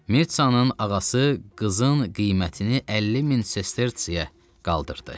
Mirtsanın ağası qızın qiymətini 50000 sestertsiyə qaldırdı.